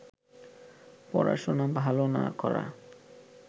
পড়াশোনা ভালো না করা